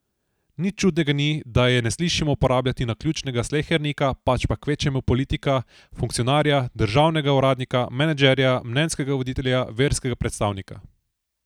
Nič čudnega ni, da je ne slišimo uporabljati naključnega slehernika, pač pa kvečjemu politika, funkcionarja, državnega uradnika, menedžerja, mnenjskega voditelja, verskega predstavnika.